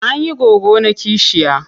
An yi goggona kishiya.